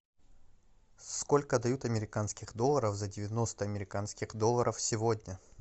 сколько дают американских долларов за девяносто американских долларов сегодня